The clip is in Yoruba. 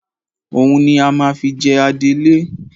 Òun ni a máa fi jẹ adelé